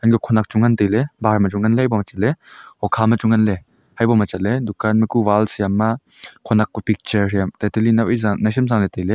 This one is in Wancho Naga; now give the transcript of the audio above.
khanak chu ngan tai ley bahar ma chu ngan ley hokha ma chu ngan ley hebo ma chat le dukan ma ku wall side ma khanak kuh picture hiya tata le nawsam nai chem zah tai ley.